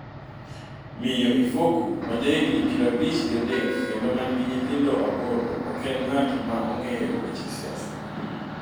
Miyo Ifoku, ma ja higni pirabich gi adek kendo ma nigi nyithindo aboro, ok en ng’at ma ong’eyo weche siasa.